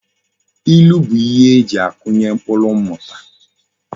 Ilu bu ihe eji akunye mkpuru mmuta